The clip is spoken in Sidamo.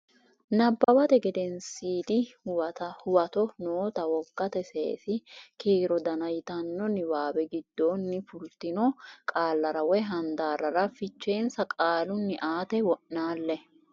Nabbawate Gedensiidi Huwato noota wogate seesi kiiro dana yitanno niwaawe giddonni fultino qaallara woy handaarrara fichensa qaalunni aate wo naalle.